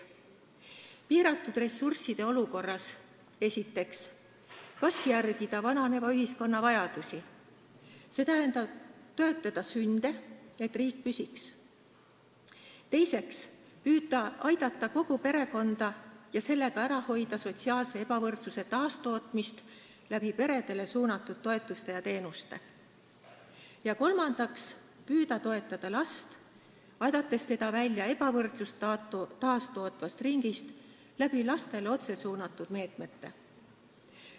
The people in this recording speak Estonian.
Kas piiratud ressursside olukorras, esiteks, järgida vananeva ühiskonna vajadusi, st toetada sünde, et riik püsiks; teiseks, püüda aidata kogu perekonda ja sellega ära hoida sotsiaalse ebavõrdsuse taastootmist, tehes seda peredele mõeldud toetuste ja teenustega; või kolmandaks, püüda toetada last, aidates ta välja ebavõrdsust taastootvast ringist, kasutades selleks otse lastele suunatud meetmeid?